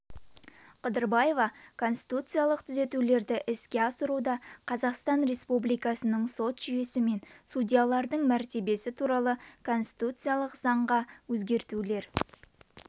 қыдырбаева конституциялық түзетулерді іске асыруда қазақстан республикасының сот жүйесі мен судьялардың мәртебесі туралы конституциялық заңға өзгертулер